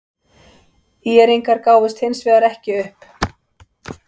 ÍR-ingar gáfust hins vegar ekki upp.